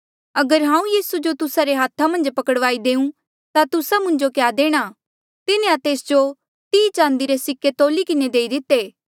अगर हांऊँ यीसू जो तुस्सा रे हाथा मन्झ पकड़वाई देऊँ ता तुस्सा मुंजो क्या देणा तिन्हें तेस जो तीह चांदी रे सिक्के तोली किन्हें देई दिते